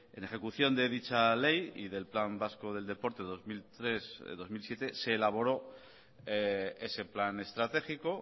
en ejecución de dicha ley y del plan vasco del deporte dos mil tres dos mil siete se elaboró ese plan estratégico